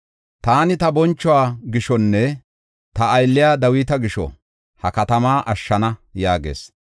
“Taani ta bonchuwa gishonne ta aylliya Dawita gisho, ha katamaa ashshana” yaagis.